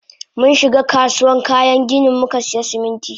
Munshiga kasuwan kayan ginin mukasiya Siminti.